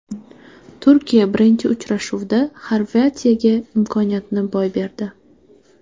Turkiya birinchi uchrashuvda Xorvatiyaga imkoniyatni boy berdi.